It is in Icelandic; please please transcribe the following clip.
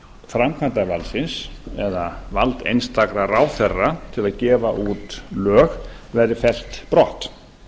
framkvæmdarvaldsins eða vald einstakra ráðherra til að gefa á lög verði fellt brott